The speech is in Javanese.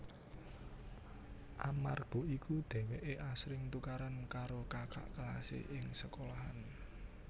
Amarga iku dheweke asring tukaran karo kakak kelase ing sekolahan